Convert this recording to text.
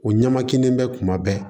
O ɲɛmakin bɛ kuma bɛɛ